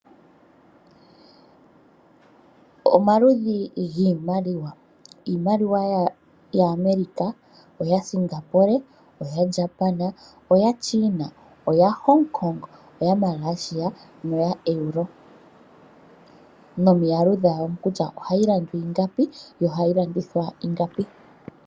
Omaludhi ngiimaliwa, iimaliwa ya America, oya Singapore oya Japan, oya China , oya Hongkong oya Malaysia noya EUR nomiyalu dhawo kutya ohayi landwa ingapi nohayi landithwa ingapi .